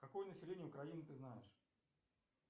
какое население украины ты знаешь